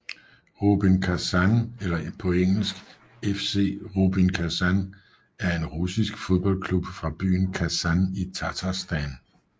Rubin Kasan eller engelsk FC Rubin Kazan er en russisk fodboldklub fra byen Kazan i Tatarstan